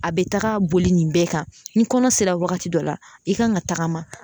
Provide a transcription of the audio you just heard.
A bɛ taga boli nin bɛɛ kan ni kɔnɔ sera wagati dɔ la i kan ka tagama